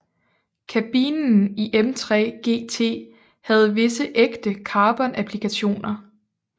Kabinen i M3 GT havde visse ægte carbonapplikationer